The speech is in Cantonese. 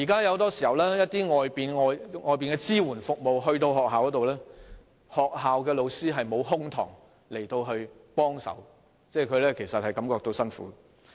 現時，外界團體進入學校提供支援服務時，學校老師往往沒有空檔可以給予協助，這些團體其實也感到吃力。